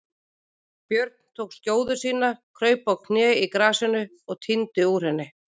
Björn tók skjóðu sína, kraup á kné í grasinu og tíndi upp úr henni.